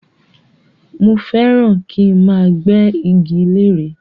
Mo fẹ́ràn ràn kí máa gbé igi lére